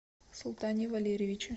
султане валерьевиче